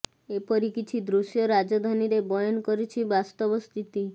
ଏପରି କିଛି ଦୃଶ୍ୟ ରାଜଧାନୀରେ ବୟାନ କରିଛି ବାସ୍ତବ ସ୍ଥିତି